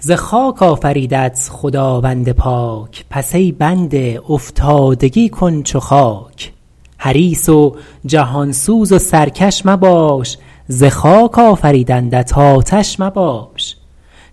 ز خاک آفریدت خداوند پاک پس ای بنده افتادگی کن چو خاک حریص و جهان سوز و سرکش مباش ز خاک آفریدندت آتش مباش